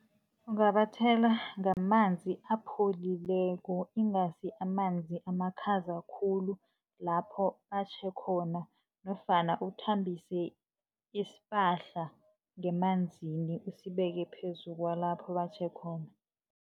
Ungabathela ngamanzi apholileko ingasi amanzi amakhaza khulu, lapho atjhe khona, nofana uthambise isipahla ngemanzini usibeke phezu kwalapho batjhe khona.